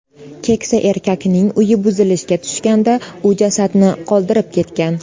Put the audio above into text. Keksa erkakning uyi buzilishga tushganda, u jasadni qoldirib ketgan.